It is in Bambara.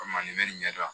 Komi nin ɲɛdɔn